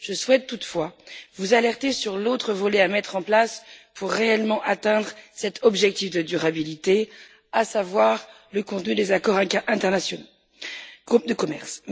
Je souhaite toutefois vous alerter sur l'autre volet à mettre en place pour réellement atteindre cet objectif de durabilité, à savoir le contenu des accords internationaux en matière de commerce.